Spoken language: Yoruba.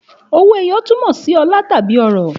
Òwó ẹyọ tún mọ si ọlà tàbí ọrọ